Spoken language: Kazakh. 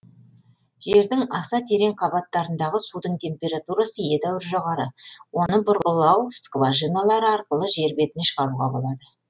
жердің аса терең қабаттарындағы судың температурасы едәуір жоғары оны бұрғылау скважиналары арқылы жер бетіне шығаруға болады